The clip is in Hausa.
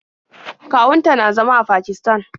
Kawun ta na zama a Pakisatan.